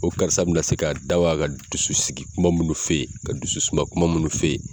O karisa bɛna se k'a da waga ka dusu sigi kuma minnu f'e ye, ka dusu suma kuma minnu f'e ye.